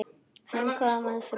Hann kom að frú